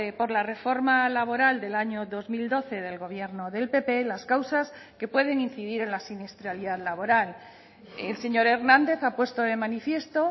por la reforma laboral del año dos mil doce del gobierno del pp las causas que pueden incidir en la siniestralidad laboral el señor hernández a puesto de manifiesto